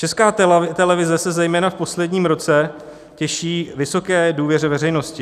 Česká televize se zejména v posledním roce těší vysoké důvěře veřejnosti.